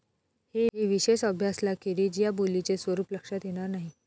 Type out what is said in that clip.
हे विशेष अभ्यासलाखेरीज या बोलीचे स्वरूप लक्षात येणार नाही.